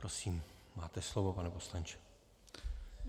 Prosím, máte slovo, pane poslanče.